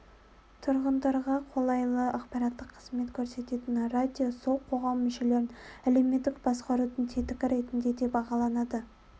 тұрғындарға қолайлы ақпараттық қызмет көрсететін радио сол қоғам мүшелерін әлеуметтік басқарудың тетігі ретінде де бағаланады